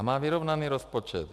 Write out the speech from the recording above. A má vyrovnaný rozpočet.